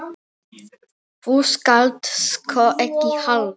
Þú skalt sko ekki halda.